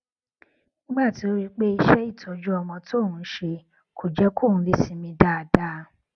nígbà tó rí i pé iṣé ìtọjú ọmọ tóun ń ṣe kò jé kóun lè sinmi dáadáa